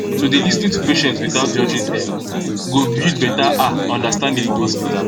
to dey lis ten to patients without judging dem go build better ah understanding for hospital